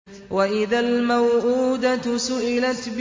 وَإِذَا الْمَوْءُودَةُ سُئِلَتْ